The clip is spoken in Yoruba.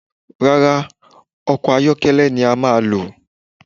Rárá, ọkọ̀ ayọ́kẹ́lẹ́ ni a máa lò